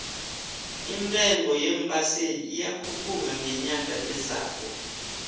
intengo yeembaseli iyakhupuka ngenyanga ezako